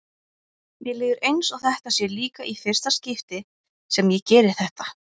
Mér líður eins og þetta sé líka í fyrsta skipti sem ég geri þetta.